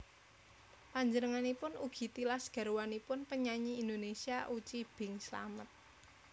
Panjenenganipun ugi tilas garwanipun penyanyi Indonesia Uci Bing Slamet